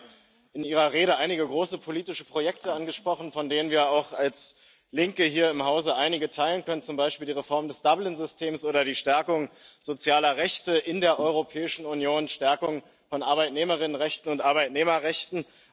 Sie haben ja in Ihrer Rede einige große politische Projekte angesprochen, von denen wir auch als Linke hier im Hause einige teilen können, zum Beispiel die Reform des Dublin Systems oder die Stärkung sozialer Rechte in der Europäischen Union, die Stärkung von Arbeitnehmerinnen und Arbeitnehmerrechten.